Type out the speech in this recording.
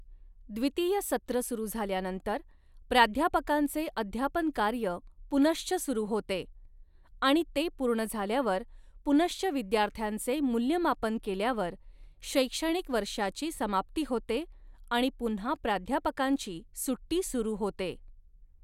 द्वितीय सत्र सुरू झाल्यानंतर, प्राध्यापकांचे अध्यापन कार्य पुनश्चः सुरू होते, आणि ते पूर्ण झाल्यावर पुनश्चः विद्यार्थ्यांचे मूल्यमापन केल्यावर, शैक्षणिक वर्षाची समाप्ती होते आणि पुन्हा प्राध्यापकांची सुट्टी सुरू होते.